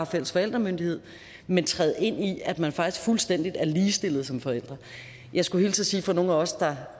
fælles forældremyndighed men træde ind i at man faktisk er fuldstændig ligestillede som forældre jeg skulle hilse og sige fra nogle af os der